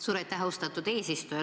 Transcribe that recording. Suur aitäh, austatud eesistuja!